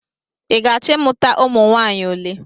I ga-achọ ịmụta ụmụ nwaanyị ole?